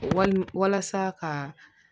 Wali walasa ka